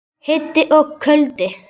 Hiti og kuldi.